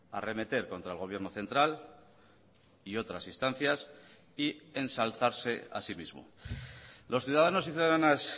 arremeter contra el gobierno central y otras instancias y ensalzarse a sí mismo los ciudadanos y ciudadanas